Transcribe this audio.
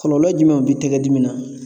Kɔlɔlɔ jumɛnw bi tɛgɛ dimi na?